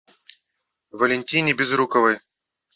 валентине безруковой